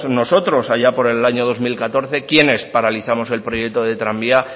nosotros allá por el año dos mil catorce quienes paralizamos el proyecto de tranvía